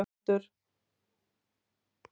Arnaldur